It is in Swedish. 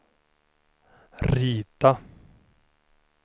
rita